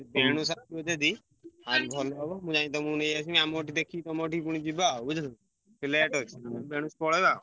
ଆଉ ଭଲ ହବ ମୁଁ ଯାଇ ନେଇଆସିବି ଆମର ଠି ଦେଖିକି ତମ ସେଠିକି ଯିବଆଉ ବୁଝିଲ କି ।